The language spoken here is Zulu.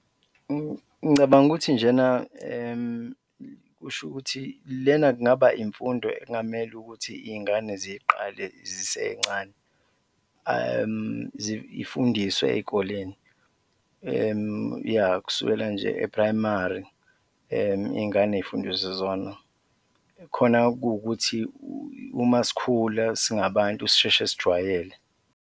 Ngicabanga ukuthi njena kusho ukuthi lena kungaba imfundo ekungamele ukuthi iy'ngane ziqale zisencane, ifundiswe ey'koleni yah, kusukela nje e-primary iy'ngane zifundiswe zona khona kuwukuthi uma sikhula singabantu sisheshe sijwayele.